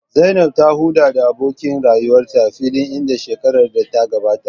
Zainab ta haɗu da abokin rayuwarta a filin Idi a shekarar da ta gabata.